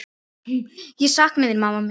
Ég sakna þín, mamma mín.